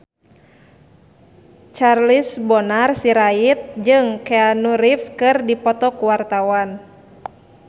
Charles Bonar Sirait jeung Keanu Reeves keur dipoto ku wartawan